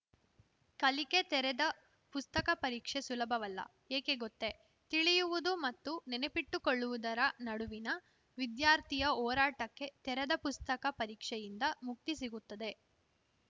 ಕಲಿಕೆ ತೆರೆದ ಪುಸ್ತಕ ಪರೀಕ್ಷೆ ಸುಲಭವಲ್ಲ ಏಕೆ ಗೊತ್ತೆ ತಿಳಿಯುವುದು ಮತ್ತು ನೆನಪಿಟ್ಟುಕೊಳ್ಳುವುದರ ನಡುವಿನ ವಿದ್ಯಾರ್ಥಿಯ ಹೋರಾಟಕ್ಕೆ ತೆರೆದ ಪುಸ್ತಕ ಪರೀಕ್ಷೆಯಿಂದ ಮುಕ್ತಿ ಸಿಗುತ್ತದೆ